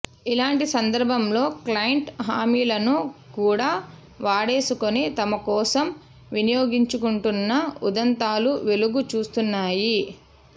ఇలాంటి సందర్భంలో క్లయింట్ల హామీలను కూడా వాడేసుకొని తమ కోసం వినియోగించుకుంటున్న ఉదంతాలు వెలుగు చూస్తున్నాయి